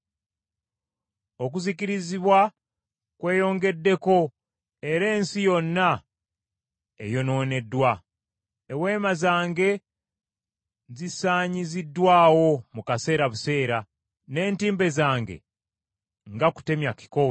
Okuzikirizibwa kweyongeddeko era ensi yonna eyonooneddwa. Eweema zange zisaanyiziddwawo mu kaseera buseera, n’entimbe zange nga kutemya kikowe.